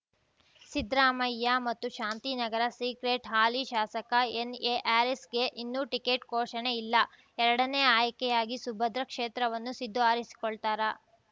ಸಿದ್ದರಾಮಯ್ಯ ಮತ್ತು ಶಾಂತಿನಗರ ಸೀಕ್ರೆಟ್‌ ಹಾಲಿ ಶಾಸಕ ಎನ್‌ಎಹ್ಯಾರಿಸ್‌ಗೆ ಇನ್ನೂ ಟಿಕೆಟ್‌ ಘೋಷಣೆ ಇಲ್ಲ ಎರಡನೇ ಆಯ್ಕೆಯಾಗಿ ಸುಭದ್ರ ಕ್ಷೇತ್ರವನ್ನು ಸಿದ್ದು ಆರಿಸಿಕೊಳ್ತಾರಾ